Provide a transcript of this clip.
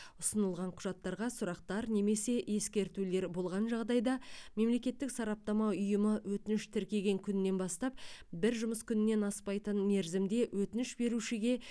ұсынылған құжаттарға сұрақтар немесе ескертулер болған жағдайда мемлекеттік сараптама ұйымы өтініш тіркеген күннен бастап бір жұмыс күнінен аспайтын мерзімде өтініш берушіге